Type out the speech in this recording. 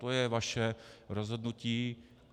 To je vaše rozhodnutí.